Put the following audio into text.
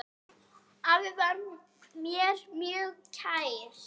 Afi var mér mjög kær.